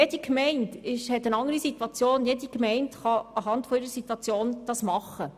Jede Gemeinde hat eine andere Situation, und auf deren Basis soll sie dies tun können.